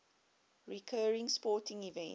recurring sporting events